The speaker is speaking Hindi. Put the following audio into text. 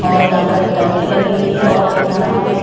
और यहां पर एक टंकी लगी हुई है और यहां पे--